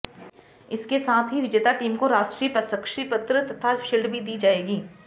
इसके साथ ही विजेता टीम को राष्ट्रीय प्रशस्ति पत्र तथा शील्ड भी दी जायेगी